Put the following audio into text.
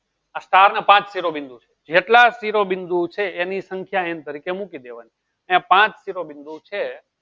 આ ચાર ને પાંચ શીરો બિંદુ જેટલા શીરો બિંદુ છે એની સંખ્યા એમ કરી ને મૂકી દેવાની અયીયા પાંચ શીરો બિંદુ છે